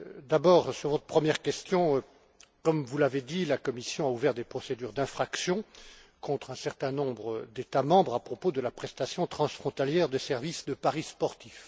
D'abord sur votre première question. Comme vous l'avez dit, la Commission a ouvert des procédures d'infraction contre un certain nombre d'États membres à propos de la prestation transfrontalière des services de paris sportifs.